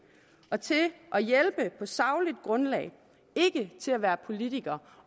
og til at hjælpe på sagligt grundlag ikke til at være politikere